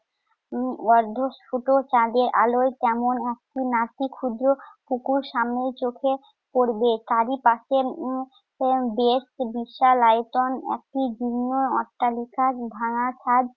উম অদ্ভুত ছোট চাঁদের আলোয় কেমন অস্থির। নাকি ক্ষুদ্র পুকুর সামনেই চোখে পড়বে, তারই পাশে উম উম বেশ বিশাল আয়তনের ভিন্ন অট্টালিকার ভাঙা ছাদ,